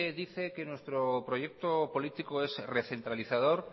dice que nuestro proyecto político es recentralizador